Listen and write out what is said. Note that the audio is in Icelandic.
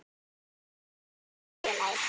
Hvíl í friði félagi.